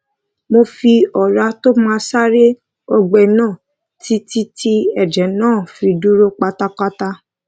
mo fi òrá tó mó sára ọgbé náà títí tí èjè náà fi dáwó dúró pátápátá